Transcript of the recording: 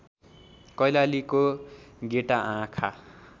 कैलालीको गेटा आँखा